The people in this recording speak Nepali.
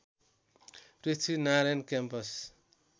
पृथ्वीनारायण क्याम्पस